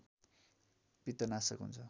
पित्तनाशक हुन्छ